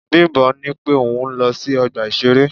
Bimbo ní pé òun ń lọ sí ọgbà ìṣeré.